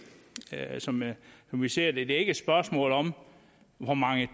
som vi ser det et spørgsmål om hvor mange